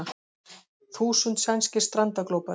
Þúsund sænskir strandaglópar